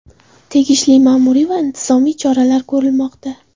Tegishli ma’muriy va intizomiy choralar ko‘rilmoqda.